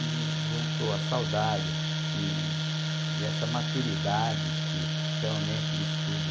E juntou a saudade e e essa maturidade de que realmente o estudo